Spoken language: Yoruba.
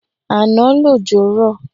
Àná lòjò rọ̀